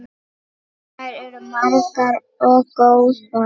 Þær eru margar og góðar.